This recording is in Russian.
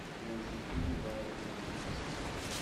найти фильм жанра приключенческий